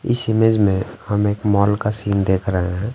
इस इमेज में हम एक मॉल का सीन देख रहे हैं ।